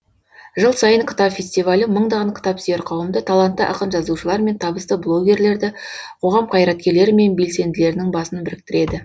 жыл сайын кітап фестивалі мыңдаған кітапсүйер қауымды талантты ақын жазушылар мен табысты блогерлерді қоғам қайраткерлері мен белсенділерінің басын біріктіреді